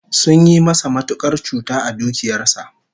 Sun yi masa matukar cuta a dukiyar sa